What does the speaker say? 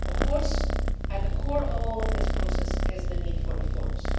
Of course, at the core of all of this process is the need for reforms